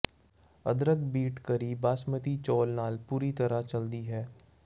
ਅਦਰਕ beet curry basmati ਚੌਲ ਨਾਲ ਪੂਰੀ ਤਰ੍ਹਾਂ ਚਲਦੀ ਹੈ